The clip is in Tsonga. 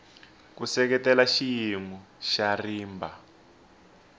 ku seketela xiyimo xa rimba